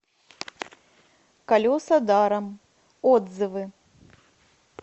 колеса даром отзывы